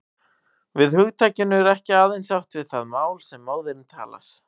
Með hugtakinu er ekki aðeins átt við það mál sem móðirin talar.